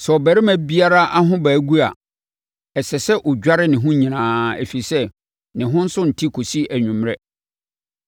“ ‘Sɛ ɔbarima biara ahobaa gu a, ɛsɛ sɛ ɔdware ne ho nyinaa, ɛfiri sɛ, ne ho nso nte kɔsi anwummerɛ.